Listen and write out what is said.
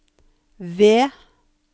V